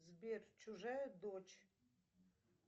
сбер чужая дочь